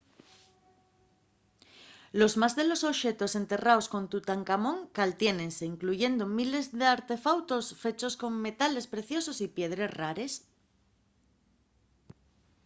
los más de los oxetos enterraos con tutancamón caltiénense incluyendo miles d’artefautos fechos con metales preciosos y piedres rares